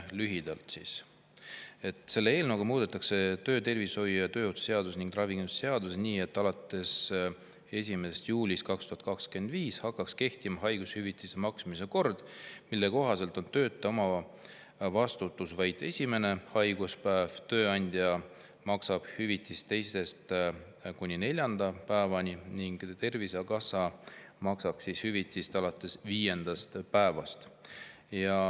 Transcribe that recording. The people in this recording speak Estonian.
Lühidalt, selle eelnõu kohaselt muudetaks töötervishoiu ja tööohutuse seadust ning ravikindlustuse seadust nii, et alates 1. juulist 2025 hakkaks kehtima haigushüvitise maksmise kord, mille kohaselt on töötaja omavastutus vaid esimene haiguspäev, tööandja maksab hüvitist teisest kuni neljanda päevani ning Tervisekassa maksab hüvitist alates viiendast päevast.